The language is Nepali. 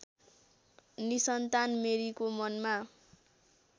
निसन्तान मेरीको मनमा